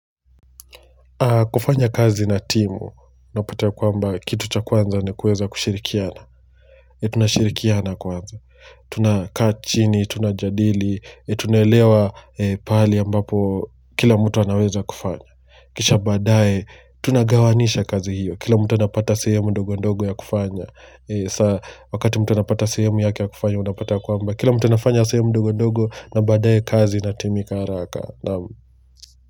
Kufanya kazi na timu, unapata kwamba kitu cha kwanza ni kuweza kushirikiana. Tunashirikiana kwanza. Tu nakaa chini, tunajadili, tunaelewa pale ambapo kila mtu anaweza kufanya. Kisha baadaye, tunagawanisha kazi hiyo. Kila mtu anapata sehemu ndogo ndogo ya kufanya. Wakati mtu anapata sehemu yake ya kufanya, unapata kwamba. Kila mtu anafanya sehemu ndogo ndogo na baadaye kazi inatimika haraka.